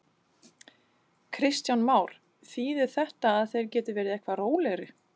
Kristján Már: Þýðir þetta að þeir geti verið eitthvað rólegri?